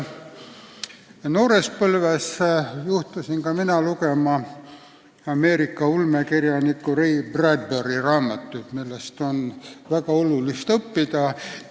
Noores põlves juhtusin ka mina lugema Ameerika ulmekirjaniku Ray Bradbury raamatuid, millest on väga palju õppida.